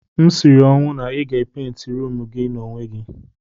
M siri ọnwụ na ị ga-epenti ruumu ahụ n'onwe gị.